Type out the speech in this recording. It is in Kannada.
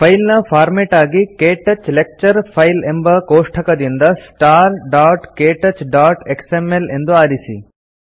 ಫೈಲ್ ನ ಫಾರ್ಮೇಟ್ ಆಗಿ ಕ್ಟಚ್ ಲೆಕ್ಚರ್ ಫೈಲ್ಸ್ ಎಂಬ ಕೋಷ್ಠಕದಿಂದ starktouchಎಕ್ಸ್ಎಂಎಲ್ ಎಂದು ಆರಿಸಿ